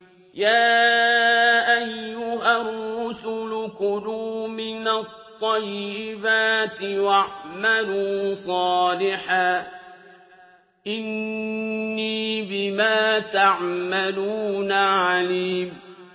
يَا أَيُّهَا الرُّسُلُ كُلُوا مِنَ الطَّيِّبَاتِ وَاعْمَلُوا صَالِحًا ۖ إِنِّي بِمَا تَعْمَلُونَ عَلِيمٌ